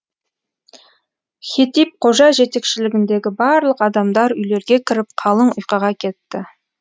хетип қожа жетекшілігіндегі барлық адамдар үйлерге кіріп қалың ұйқыға кетті